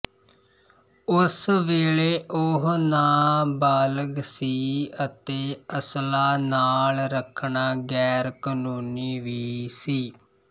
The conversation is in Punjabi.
ਉਸ ਵੇਲੇ ਉਹ ਨਾਬਾਲਗ ਸੀ ਅਤੇ ਅਸਲਾ ਨਾਲ ਰੱਖਣਾ ਗੈਰ ਕਾਨੂੰਨੀ ਵੀ ਸੀ